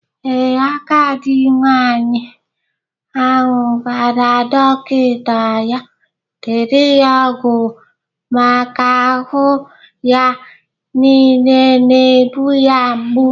Ee, Agadi nwaanyị ahụ gwara dọkịta ya dere ya ọgwụ maka ahụ ya nile na-egbu ya mgbu